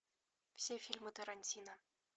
все фильмы тарантино